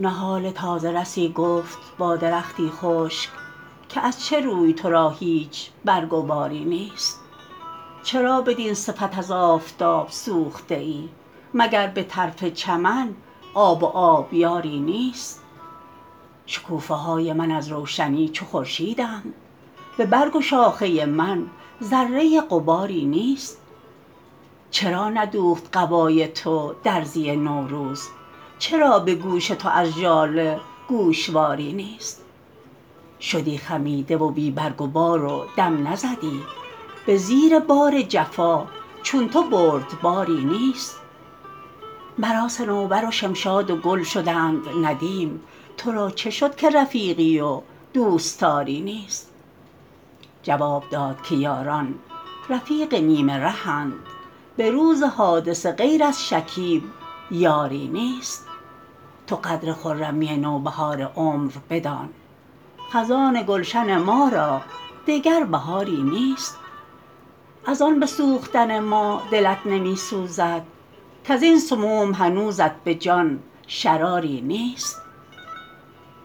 نهال تازه رسی گفت با درختی خشک که از چه روی ترا هیچ برگ و باری نیست چرا بدین صفت از آفتاب سوخته ای مگر بطرف چمن آب و آبیاری نیست شکوفه های من از روشنی چو خورشیدند ببرگ و شاخه من ذره غباری نیست چرا ندوخت قبای تو درزی نوروز چرا بگوش تو از ژاله گوشواری نیست شدی خمیده و بی برگ و بار و دم نزدی بزیر بار جفا چون تو بردباری نیست مرا صنوبر و شمشاد و گل شدند ندیم ترا چه شد که رفیقی و دوستاری نیست جواب داد که یاران رفیق نیم رهند بروز حادثه غیر از شکیب یاری نیست تو قدر خرمی نوبهار عمر بدان خزان گلشن ما را دگر بهاری نیست از ان بسوختن ما دلت نمیسوزد کازین سموم هنوزت بجان شراری نیست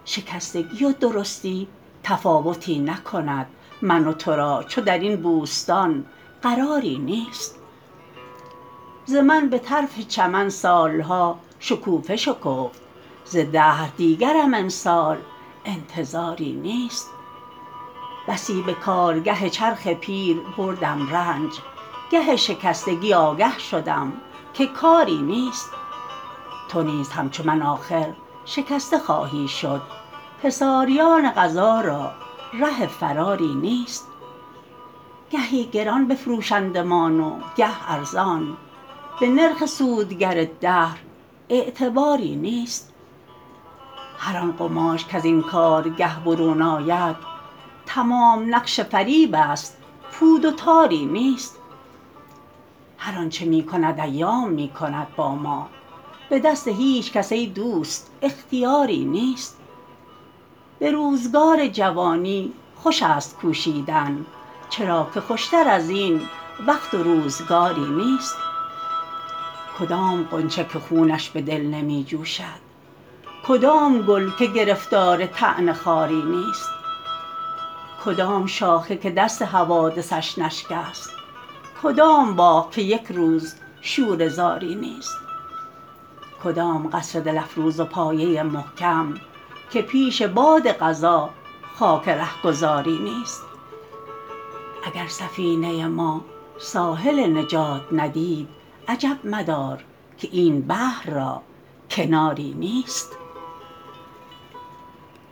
شکستگی و درستی تفاوتی نکند من و ترا چون درین بوستان قراری نیست ز من بطرف چمن سالها شکوفه شکفت ز دهر دیگرم امسال انتظاری نیست بسی به کارگه چرخ پیر بردم رنج گه شکستگی آگه شدم که کاری نیست تو نیز همچو من آخر شکسته خواهی شد حصاریان قضا را ره فراری نیست گهی گران بفروشندمان و گه ارزان به نرخ سود گر دهر اعتباری نیست هر آن قماش کزین کارگه برون آید تمام نقش فریب است پود و تاری نیست هر آنچه میکند ایام میکند با ما بدست هیچکس ای دوست اختیاری نیست بروزگار جوانی خوش است کوشیدن چرا که خوشتر ازین وقت و روزگاری نیست کدام غنچه که خونش بدل نمی جوشد کدام گل که گرفتار طعن خاری نیست کدام شاخه که دست حوادثش نشکست کدام باغ که یکروز شوره زاری نیست کدام قصر دل افروز و پایه محکم که پیش باد قضا خاک رهگذاری نیست اگر سفینه ما ساحل نجات ندید عجب مدار که این بحر را کناری نیست